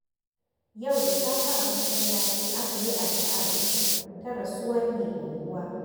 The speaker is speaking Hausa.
Yau da safe a masallaci aka yi addu'ar uku ta rasuwar Mai Unguwa.